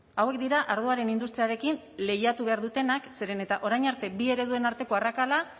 hauek dira ardoaren industriarekin lehiatu behar dutenak zeren eta orain arte bi ereduen arteko arrakala